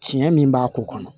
Tiɲɛ min b'a k'o kɔnɔ